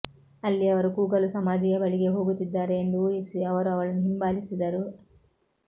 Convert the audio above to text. ಅಲ್ಲಿ ಅವರು ಕೂಗಲು ಸಮಾಧಿಯ ಬಳಿಗೆ ಹೋಗುತ್ತಿದ್ದಾರೆ ಎಂದು ಊಹಿಸಿ ಅವರು ಅವಳನ್ನು ಹಿಂಬಾಲಿಸಿದರು